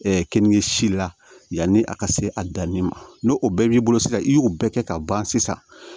kenige si la yanni a ka se a danni ma n'o o bɛɛ b'i bolo sisan i y'o bɛɛ kɛ ka ban sisan